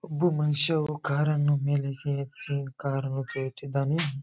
ಒಬ್ಬ ಮನುಷ್ಯ ಕಾರನ್ನು ಮೇಲಕ್ಕೆ ಎತ್ತಿ ಕಾರನ್ನು ತೊಳೆಯುತ್ತಿದ್ದಾನೆ.